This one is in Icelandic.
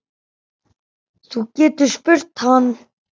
Þú getur spurt hann.